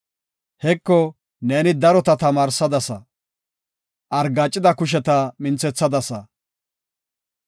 Heko, neeni darota tamaarsadasa; argaacida kusheta minthethadasa.